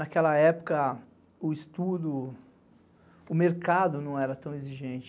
Naquela época, o estudo, o mercado não era tão exigente.